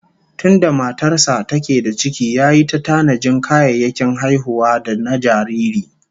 Tunda matar sa take da ciki yayi ta tanajin kayayyakin haihuwa da na jariri